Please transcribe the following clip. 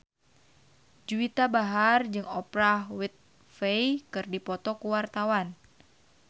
Juwita Bahar jeung Oprah Winfrey keur dipoto ku wartawan